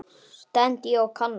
stend ég og kanna.